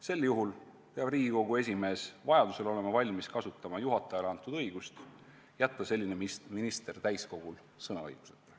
Sel juhul peab Riigikogu esimees vajaduse korral olema valmis kasutama juhatajale antud õigust jätta selline minister täiskogul sõnaõiguseta.